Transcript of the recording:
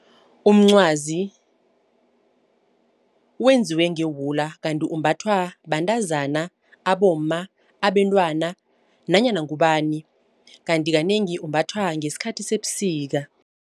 Umncwazi wenziwe ngewula kanti umbathwa bantazana, abomma, abantwana nanyana ngubani. Kanti kanengi umbathwa ngesikhathi sebusika.